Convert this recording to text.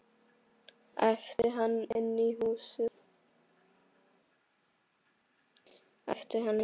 æpti hann inn í húsið.